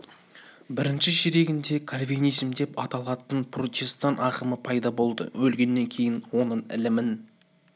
бірінші ширегінде кальвинизм деп аталатын протестан ағымы пайда болды өлгеннен кейін оның ілімін